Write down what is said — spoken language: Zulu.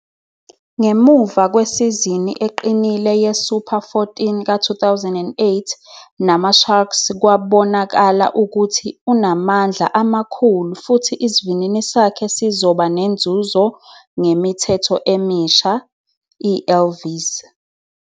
Ngemuva kwesizini eqinile ye- Super 14 ka- 2008 namaSharks kwabonakala ukuthi unamandla amakhulu futhi isivinini sakhe sizoba nenzuzo ngemithetho emisha, ELV 's.